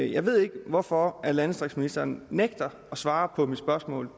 jeg ved ikke hvorfor landdistriktsministeren nægter at svare på mit spørgsmål